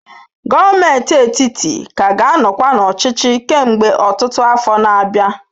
Gọọmenti etiti ka ga-anọkwa n'ọchịchị kemgbe ọtụtụ afọ na-abịa.